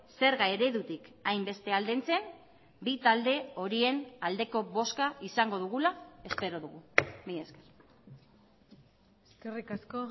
zerga eredutik hainbeste aldentzen bi talde horien aldeko bozka izango dugula espero dugu mila esker eskerrik asko